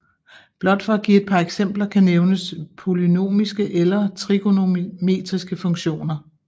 Blot for at give et par eksempler kan nævnes polynomiske eller trigonometriske funktioner